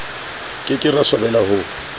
ke ke ra swabela ho